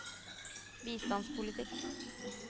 bistandspolitikk